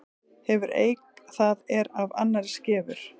Hefur eik það er af annarri skefur.